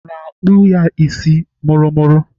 Ọ na-akpụ ya isi mụrụmụrụ?